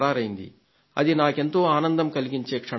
అది నాకెంతో ఆనందం కలిగించే క్షణాలు అవి